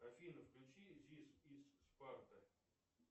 афина включи зис из спарта